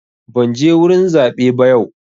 Ban je wurin zaɓe ba yau.